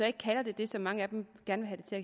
ikke kalder det det som mange af dem gerne vil